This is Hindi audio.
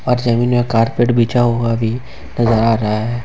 और जमीन में कारपेट बिछा हुआ भी नजर आ रहा है।